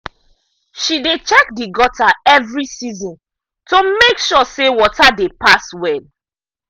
she dey check the gutter every season to make sure say water dey pass well.